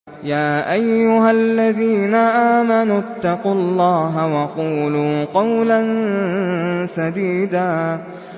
يَا أَيُّهَا الَّذِينَ آمَنُوا اتَّقُوا اللَّهَ وَقُولُوا قَوْلًا سَدِيدًا